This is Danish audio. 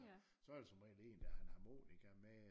Så der som regel en der har en harmonika med